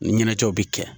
Ni ɲɛnajɛw bɛ kɛ